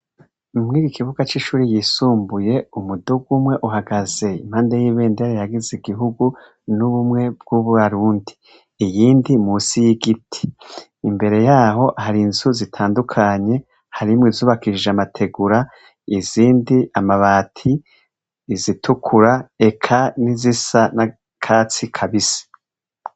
Mw'iki kibuga c'ishuri yisumbuye, umuduga umwe uhagaze impande y'ibendera ihayagiza igihugu n'ubumwe bw'abarundi; iyindi munsi y'igiti. Imbere y'aho hari inzu zitandukanye, harimwo izubakishije amategura, izindi amabati, izitukura eka n'izisa n'akatsi kabisi.